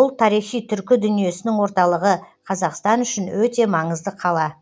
бұл тарихи түркі дүниесінің орталығы қазақстан үшін өте маңызды қала